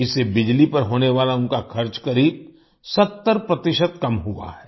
इससे बिजली पर होने वाला उनका खर्च करीब 70 प्रतिशत कम हुआ है